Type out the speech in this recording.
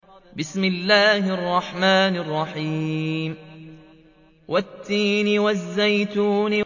وَالتِّينِ وَالزَّيْتُونِ